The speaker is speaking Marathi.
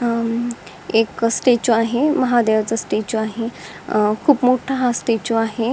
एक स्टॅचू आहे महादेवाच स्टॅचू आहे खूप मोठा हा स्टॅचू आहे.